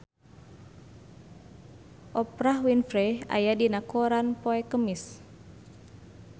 Oprah Winfrey aya dina koran poe Kemis